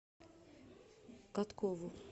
коткову